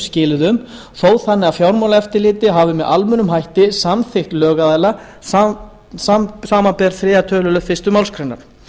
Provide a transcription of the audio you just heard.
skilyrðum þó þannig að fjármálaeftirlitið hafi með almennum hætti samþykkt lögaðila samanber þriðju töluliðar fyrstu málsgrein